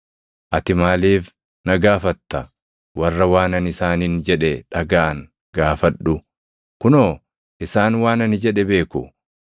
Ati maaliif na gaafatta? Warra waan ani isaaniin jedhe dhagaʼan gaafadhu. Kunoo isaan waan ani jedhe beeku.”